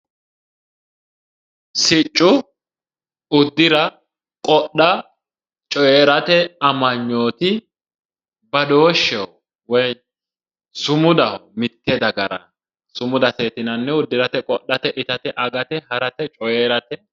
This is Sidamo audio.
Sicco uddira qodha coyrate amanyooti badooshsheho woy sumudaho mitte dagara sumudate yinannihu uddirate qodhate coyrate harate